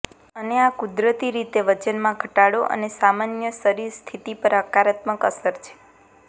અને આ કુદરતી રીતે વજનમાં ઘટાડો અને સામાન્ય શરીર સ્થિતિ પર હકારાત્મક અસર છે